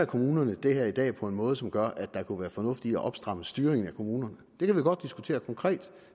kommunerne det her i dag på en måde som gør at der kunne være fornuft i at opstramme styringen af kommunerne det kan vi godt diskutere konkret